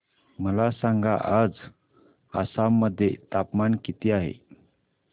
मला सांगा आज आसाम मध्ये तापमान किती आहे